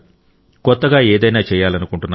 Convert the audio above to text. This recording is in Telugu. కొత్తగా ఏదైనా చేయాలనుకుంటున్నారు